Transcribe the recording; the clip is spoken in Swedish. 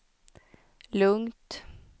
lugnt